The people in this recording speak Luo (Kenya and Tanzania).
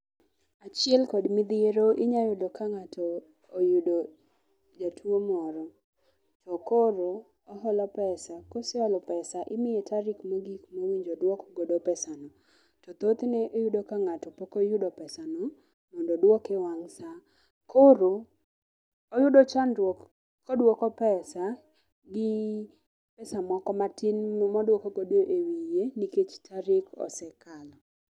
Achiel kod midhiero inya yudo ka ng'ato oyudo jatuo moro. To koro oholo pesa. Koseholo pesa imiye tarik mogik mowinjo oduok godo pesa no. To thoth ne iyudo ka ng'ato pok oyudo pesa no mondo oduok e wang' sa. Koro oyudo chandruok koduoko pesa gi pesa moko matin moduok godo e wiye nikech tarik osekalo.